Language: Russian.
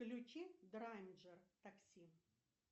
включи драйнджер такси